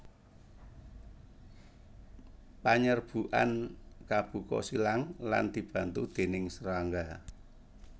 Panyerbukan kabuka silang lan dibantu déning srangga